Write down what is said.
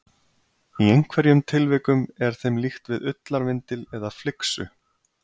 Í einhverjum tilvikum er þeim líkt við ullarvindil eða flyksu.